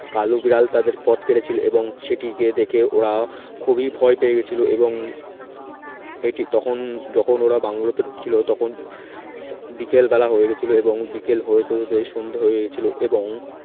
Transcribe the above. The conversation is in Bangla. কালো বিড়াল তাদের পথ কেটেছিল এবং সেটিকে দেখে ওরা খুবই ভয় পেয়ে গেছিল এবং এটি তখন যখন ওরা বাংলো তে ঢুকছিল তখন বিকেলবেলা হয়ে গেছিল এবং বিকেল হয়ে যেতে যেতে সন্ধ্যে হয়েছিল এবং